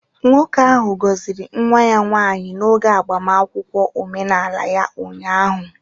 Nwoke ahụ gọziri nwa ya nwanyị n'oge agbamakwụkwọ omenala ya ụnyahụ